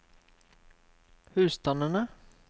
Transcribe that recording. husstandene